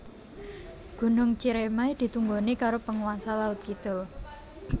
Gunung Ciremai ditunggoni karo penguasa laut kidul